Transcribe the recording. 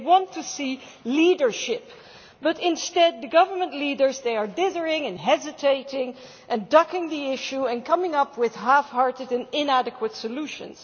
They want to see leadership, but instead the government leaders are dithering and hesitating and ducking the issue and coming up with half hearted and inadequate solutions.